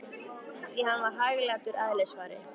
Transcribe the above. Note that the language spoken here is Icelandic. Því hann var hæglátur að eðlisfari.